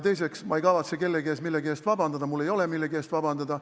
Teiseks, ma ei kavatse kellegi ees millegi eest vabandada, mul ei olegi millegi eest vabandada.